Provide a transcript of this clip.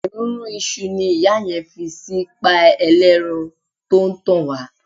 Èrúnrún iṣu ni ìyá yẹn fi sí páì ẹlẹ́ran tó ń tàn wá.